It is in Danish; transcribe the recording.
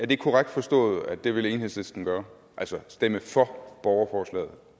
det korrekt forstået at det vil enhedslisten gøre altså stemme for borgerforslaget